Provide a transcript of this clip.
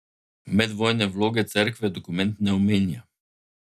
Medvojne vloge Cerkve dokument ne omenja.